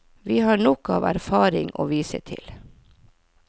Vi har nok av erfaring å vise til.